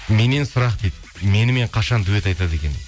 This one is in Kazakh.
меннен сұрақ дейді менімен қашан дуэт айтады екен